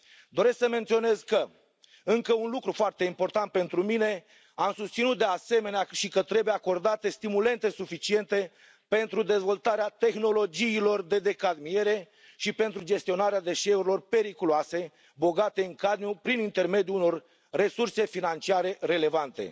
Doresc să menționez că încă un lucru foarte important pentru mine am susținut, de asemenea, și că trebuie acordate stimulente suficiente pentru dezvoltarea tehnologiilor de decadmiere și pentru gestionarea deșeurilor periculoase bogate în cadmiu prin intermediul unor resurse financiare relevante.